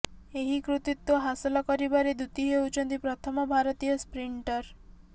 ଏହି କୃତିତ୍ୱ ହାସଲ କରିବାରେ ଦୂତି ହେଉଛନ୍ତି ପ୍ରଥମ ଭାରତୀୟ ସ୍ପ୍ରିଣ୍ଟର